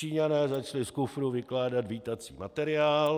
Číňané začali z kufru vykládat vítací materiál.